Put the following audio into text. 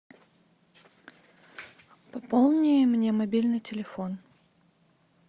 пополни мне мобильный телефон